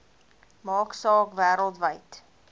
maak saak wêreldwyd